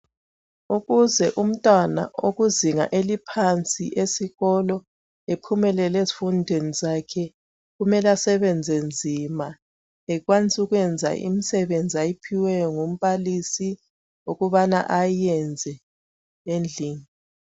Ukuze umntwana okuzinga eliphansi esikolo ephumelele ezifundweni zakhe .Kumele asebenze nzima ekwanise ukwenza imisebenzi ayiphiweyo ngumbalisi ukubana ayiyenze edlini .